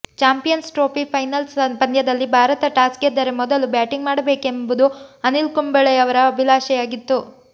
champions trophy final ಪಂದ್ಯದಲ್ಲಿ Bharat toss ಗೆದ್ದರೆ ಮೊದಲು ಬ್ಯಾಟಿಂಗ್ ಮಾಡಬೇಕೆಂಬುದು ಅನಿಲ್ ಕುಂಬ್ಳೆಯವರ ಅಭಿಲಾಷೆಯಾಗಿತ್ತು